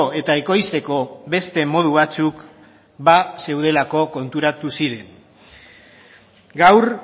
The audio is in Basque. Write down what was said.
eta ekoizteko beste modu batzuk bazeudela konturatu ziren gaur